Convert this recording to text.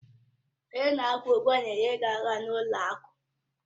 Onye na-akwụ ụgwọ na-enyere gị aka n'ụlọ akụ.